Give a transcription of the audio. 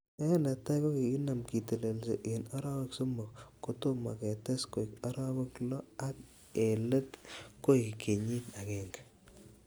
En netai, kokinaam kitelelsi en arawek somok kotomo ketes koik arawek loo ak en let koik kenyit agenge.